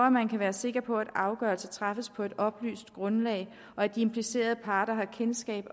at man kan være sikker på at afgørelser træffes på et oplyst grundlag og at de implicerede parter har kendskab